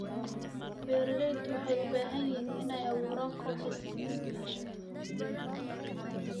Beeraleydu waxay u baahan yihiin inay abuuraan kooxo iskaashato.